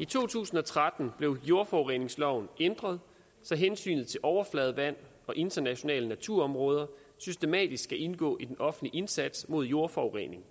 i to tusind og tretten blev jordforureningsloven ændret så hensynet til overfladevand og internationale naturområder systematisk skal indgå i den offentlige indsats mod jordforurening